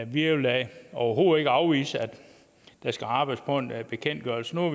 vi vil da overhovedet ikke afvise at der skal arbejdes på en bekendtgørelse nu